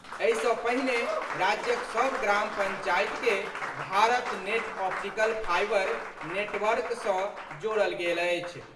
एहि सँ पहिने राज्यक सभ ग्राम पंचायत के Bharat net optical fibre network सँ जोड़ल गेल अछि।